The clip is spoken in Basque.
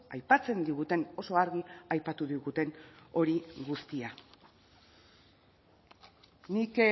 aipatzen diguten oso argi aipatu diguten hori guztia nik